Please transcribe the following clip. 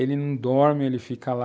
Ele não dorme, ele fica lá,